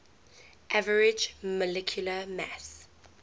average molecular mass